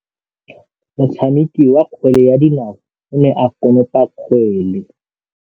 Motshameki wa kgwele ya dinaô o ne a konopa kgwele.